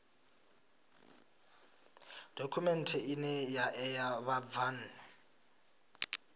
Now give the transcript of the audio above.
dokhumenthe ine ya ṋea vhabvann